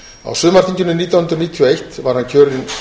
á sumarþinginu nítján hundruð níutíu og eitt var hann kjörinn